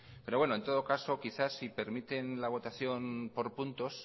pero bueno en todo caso quizá si permiten la votación por puntos